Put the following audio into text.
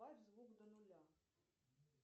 убавь звук до нуля